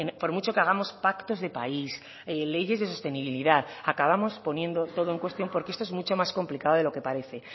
por mucho que hagamos pactos de país leyes de sostenibilidad acabamos poniendo todo en cuestión porque esto es mucho más complicado de lo que parece